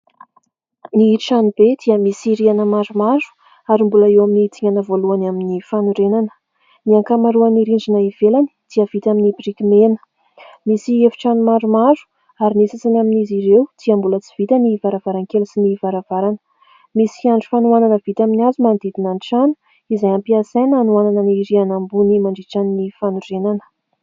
Ny trano be dia misy rihana maromaro ary mbola eo amin'ny dingana voalohany amin'ny fanorenana. Ny ankamaroany ny rindrina ivelany dia avita amin'ny biriky mena, misy efitrano maromaro ary ny sasany amin'izy ireo dia mbola tsy vita ny varavarankely sy ny varavarana. Misy fiandry fanohanana vita amin'ny hazo manodidina an-trano izay ampiasaina hanohanana ny rihana ambony mandritra ny fanorenana.